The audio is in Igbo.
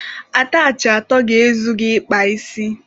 Atachị atọ ga-ezu gị ịkpa isi.